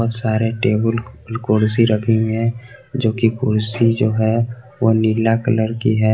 सारे टेबुल कुर्सी रखे हुए हैं जो की कुर्सी जो है वो नीला कलर की है।